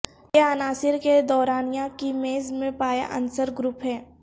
یہ عناصر کے دورانیہ کی میز میں پایا عنصر گروپ ہیں